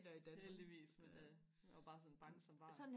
heldigvis men øh jeg var bare sådan bange som barn